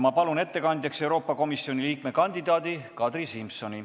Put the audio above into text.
Ma palun ettekandjaks Euroopa Komisjoni liikme kandidaadi Kadri Simsoni!